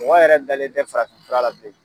Mɔgɔ yɛrɛ dalen tɛ farafin fura la bilen.